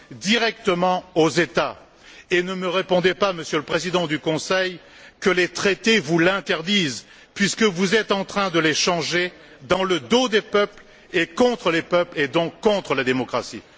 directement aux États. Et ne me répondez pas, Monsieur le Président du conseil, que les traités vous l'interdisent, puisque vous êtes en train de les changer dans le dos des peuples et contre les peuples, et donc contre la démocratie!